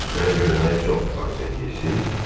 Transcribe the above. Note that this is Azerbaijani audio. Məni görməyə çox arzu eləyirsiz?